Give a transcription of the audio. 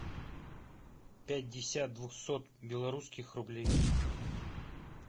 пятьдесят двухсот белорусских рублей